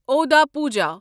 اوٚدا پوجا